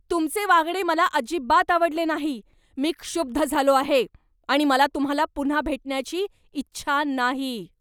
तुमचे वागणे मला अजिबात आवडले नाही. मी क्षुब्ध झालो आहे आणि मला तुम्हाला पुन्हा भेटण्याची इच्छा नाही!